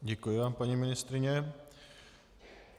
Děkuji vám, paní ministryně.